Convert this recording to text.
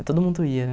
Todo mundo ia,